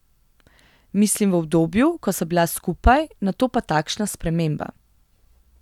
Mislim v obdobju, ko sva bila skupaj, nato pa takšna sprememba.